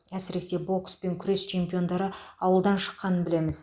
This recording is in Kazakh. әсіресе бокс пен күрес чемпиондары ауылдан шыққанын білеміз